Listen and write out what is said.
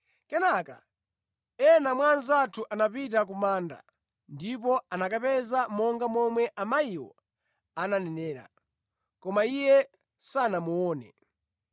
Kenaka ena mwa anzathu anapita ku manda ndipo anakapeza monga momwe amayiwo ananenera, koma Iye sanamuone.”